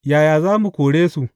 Yaya za mu kore su?